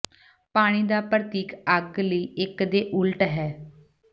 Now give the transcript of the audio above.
ਪਾਣੀ ਦਾ ਪ੍ਰਤੀਕ ਅੱਗ ਲਈ ਇਕ ਦੇ ਉਲਟ ਹੈ